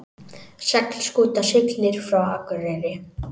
Seglskúta siglir frá Akureyri